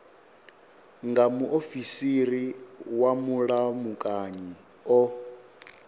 nga muofisiri wa vhulamukanyi o